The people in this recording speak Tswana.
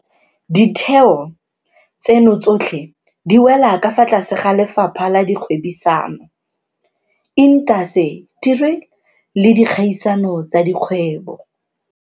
Ditheo tseno tsotlhe di wela ka fa tlase ga Lefapha la Kgwebisano, Intaseteri le Dikgaisano tsa Dikgwebo.